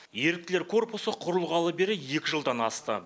еріктілер корпусы құрылғалы бері екі жылдан асты